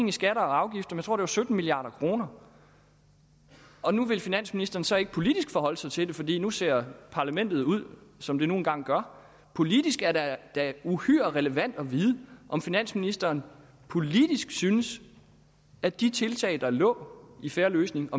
i skatter og afgifter jeg tror at sytten milliard kroner og nu vil finansministeren så ikke politisk forholde sig til det fordi nu ser parlamentet ud som det nu engang gør politisk er det da uhyre relevant at vide om finansministeren politisk synes at de tiltag der lå i fair løsning